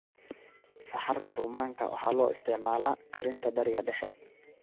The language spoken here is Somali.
Saxarka rummaanka waxa loo isticmaalaa karinta Bariga Dhexe.